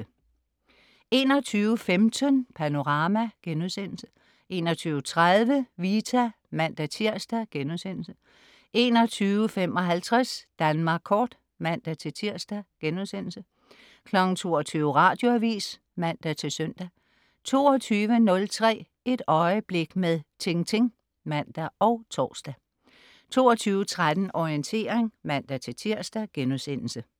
21.15 Panorama* 21.30 Vita (man-tirs)* 21.55 Danmark Kort (man-tirs)* 22.00 Radioavis (man-søn) 22.03 Et øjeblik med Tintin (man og tors) 22.13 Orientering (man-tirs)*